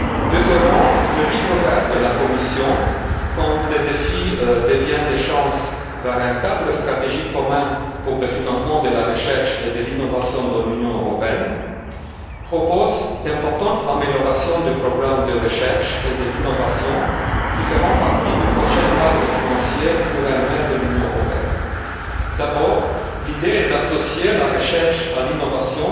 Deuxièmement, le Livre vert de la Commission intitulé Quand les défis deviennent des chances vers un cadre stratégique commun pour le financement de la recherche et de l'innovation dans l'Union européenne propose d'importantes améliorations du programme de recherche et de l'innovation qui feront partie du prochain cadre financier pluriannuel de l'Union européenne. D'abord, l'idée est d'associer la recherche à l'innovation